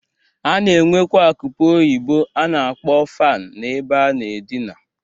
A na-enwekwa akụpe oyibo a na-akpọ fan na-ebe a na-adịna.